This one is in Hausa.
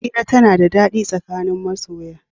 Hira tana da daɗi tsakanin masoya.